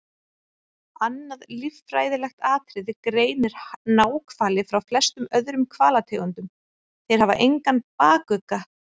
Annað líffræðilegt atriði greinir náhvali frá flestum öðrum hvalategundum- þeir hafa engan bakugga.